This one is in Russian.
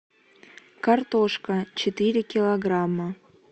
картошка четыре килограмма